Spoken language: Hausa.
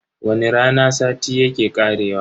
Wani rana sati yake karewa.